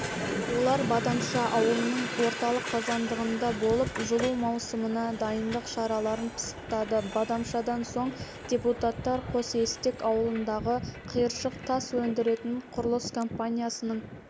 олар бадамша ауылының орталық қазандығында болып жылу маусымына дайындық шараларын пысықтады бадамшадан соң депутаттар қосестек ауылындағы қиыршық тас өндіретін құрылыс компаниясының